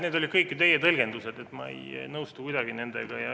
Need olid kõik ju teie tõlgendused, ma ei nõustu nendega kuidagi.